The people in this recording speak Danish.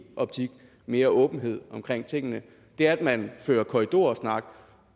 optik mere åbenhed omkring tingene det er at man fører korridorsnak